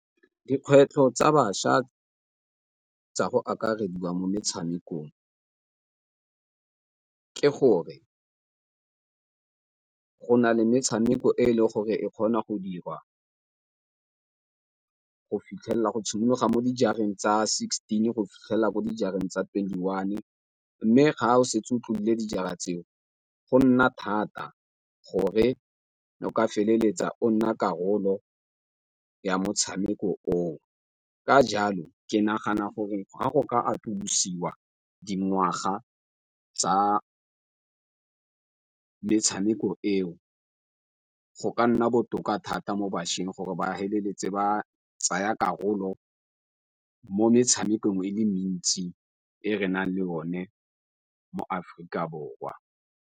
Dikgwetlho tsa bašwa tsa go akarediwa mo metshamekong ke gore go na le metshameko e leng gore e kgona go dirwa go tshimolola mo dijareng tsa sixteen go fitlhela mo dijareng tsa twenty-one, mme ga o setse o tlodile dijara tseo go nna thata gore o ka feleletsa o nna karolo ya motshameko o. Ka jalo ke nagana gore ga go ka atolosiwa dingwaga tsa metshameko eo go ka nna botoka thata mo bašweng gore ba feleletse ba tsaya karolo mo metshamekong e le mentsi e re nang le o ne mo Aforika Borwa.